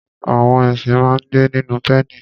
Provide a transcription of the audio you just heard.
Àwọn ẹṣin máa ń gbé nínú pẹ́ẹ̀nì.